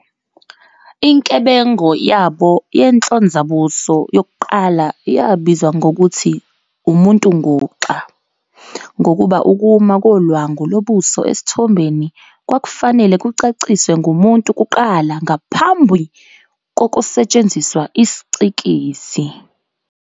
Inkebengo yabo yenhlonzabuso yokuqala yabizwa ngokuthi "umuntu-nguxa" ngokuba ukuma kolwangu lobuso esithombeni kwakufanele kucaciswe ngumuntu kuqala ngaphambi kokusetshenziswa isiCikizi.